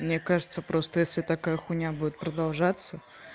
мне кажется просто если такая хуйня будет продолжаться